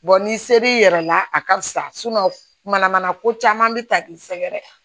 n'i ser'i yɛrɛ la a ka fisa mana mana mana ko caman bɛ ta k'i sɛgɛrɛ